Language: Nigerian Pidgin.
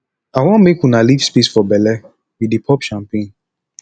i wan make una leave space for bele we dey pop champagne